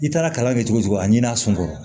I taara kalan kɛ cogo o cogo a ɲin'a sun kɔrɔ